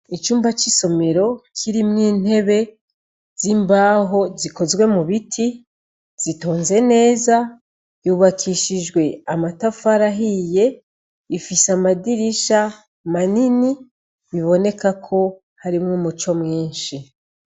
Icumba c'isomero kirimw’intebe z'imbaho zikozwe mu biti, zitonze neza. Yubakishijwe amatafari ahiye, ifise amadirisha manini, biboneka ko harimwo umuco mwinshi.